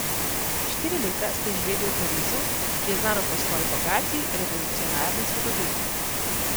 Štiri leta ste živeli v Parizu, ki je znano po svoji bogati revolucionarni zgodovini.